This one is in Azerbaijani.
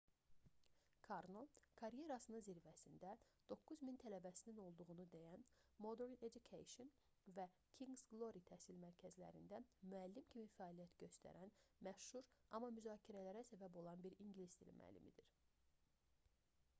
karno karyerasının zirvəsində 9 min tələbəsinin olduğunu deyən modern education və kings glory təhsil mərkəzlərində müəllim kimi fəaliyyət göstərən məşhur amma müzakirələrə səbəb olan bir ingilis dili müəllimdir